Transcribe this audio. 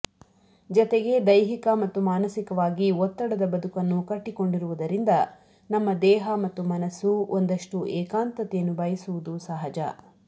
ಜತೆಗೆ ದೈಹಿಕ ಮತ್ತು ಮಾನಸಿಕವಾಗಿ ಒತ್ತಡದ ಬದುಕನ್ನು ಕಟ್ಟಿಕೊಂಡಿರುವುದರಿಂದ ನಮ್ಮ ದೇಹ ಮತ್ತು ಮನಸ್ಸು ಒಂದಷ್ಟು ಏಕಾಂತತೆಯನ್ನು ಬಯಸುವುದು ಸಹಜ